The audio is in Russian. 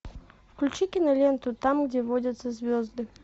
включи киноленту там где водятся звезды